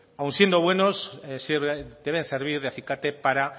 aun siendo buenos sí deben servir de acicate para